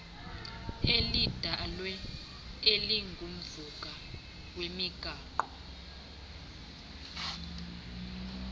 elidalwe elingumvuka wemigaqo